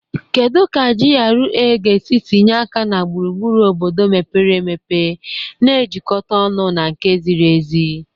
Kedu ka GRA ga-esi tinye aka na gburugburu obodo mepere emepe na-ejikọta ọnụ na nke ziri ezi?